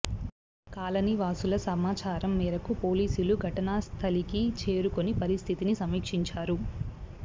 colony వాసుల సమాచారం మేరకు పోలీసులు ఘటనాస్థలికి చేరుకుని పరిస్థితి సమీక్షించారు